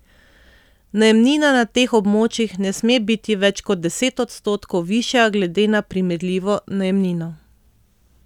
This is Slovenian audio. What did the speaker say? Najemnina na teh območjih ne sme biti več kot deset odstotkov višja glede na primerljivo najemnino.